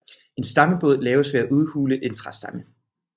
En stammebåd laves ved at udhule en træstamme